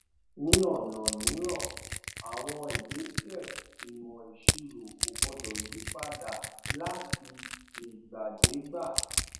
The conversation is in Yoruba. ní ọnà mìíràn àwọn ìgbésẹ ìmọ ìṣirò kò gbọdọ yí padà láti ìgbàdégbà